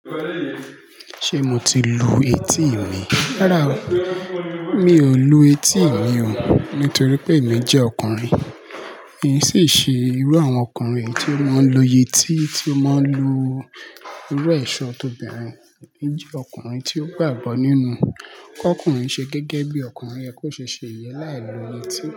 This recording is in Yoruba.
Ṣé mo ti lu etí mi? Rárá o, mi ò lu etí mi ò nítorí pé èmí jẹ́ ọkùnrin. Kìí sì ṣe irú àwọn ọkùnrin èyí tí ó máa ń lo yetí tí ó máa ń lu irú ẹ̀ṣọ́ t'obìnrin. Èmí jẹ́ ọkùnrin tí ó gbàgbọ́ nínú kọ́'kùnrin ṣe gẹ́gẹ́ bí ọkùnrin yẹ kó ṣe ṣe ìyẹn láì lo yẹtí.